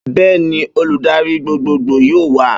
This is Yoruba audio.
Bẹ́ẹ́ni, olùdarí gbogbogbò yóò wá